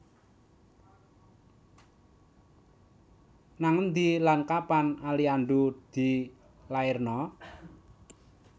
Nang endi lan kapan Aliando dilairno?